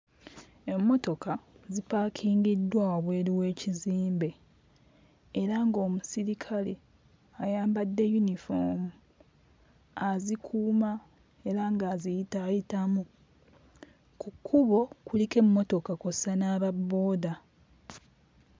Emmotoka zipaakingiddwa wabweru w'ekizimbe era ng'omusirikale eyambadde yunifoomu azikuuma era ng'aziyitaayitamu, ku kkubo kuliko emmotoka kw'ossa n'aba booda.